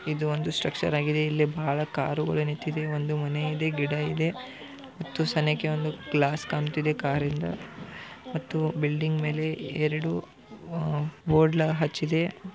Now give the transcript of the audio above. ಇದು ಒಂದು ಸ್ಟ್ರಕ್ಚರ್ ಆಗಿದೆ ಇಲ್ಲಿ ಬಹಳ ಕಾರುಗಳು ನಿಂತಿದೆ. ಒಂದು ಮನೆ ಇದೆ ಗಿಡ ಇದೆ ಮತ್ತು ಸಣ್ಣಕ್ಕೆ ಒಂದು ಗ್ಲಾಸ್ ಕಾಣತಿದೆ ಕಾರಿಂದ ಮತ್ತು ಬಿಲ್ಡಿಂಗ್ ಮೇಲೆ ಎರಡು ಬೊಡ್ಲ ಹಚ್ಚಿದೆ .